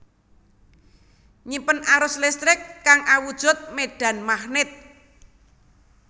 Nyimpen arus listrik kang awujud medan magnet